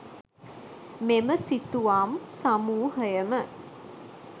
මෙම සිතුවම් සමූහයම